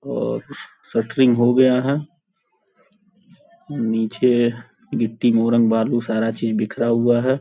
और शटरिंग हो गया है। नीचे गिट्टी मोरंग बालू सारा चीज बिखरा हुआ है।